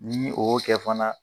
Ni o y'o kɛ fana